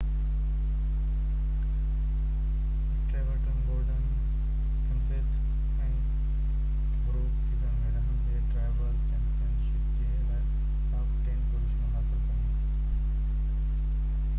Stuart Gordon Kenseth ۽ Harvick season ۾ رهندي driver championship جي لاءِ ٽاپ ٽين پوزيشنون حاصل ڪيون